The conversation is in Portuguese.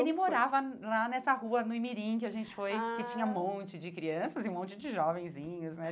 Ele morava lá nessa rua, no Imirim, que a gente foi, ah que tinha um monte de crianças e um monte de jovenzinhos, né?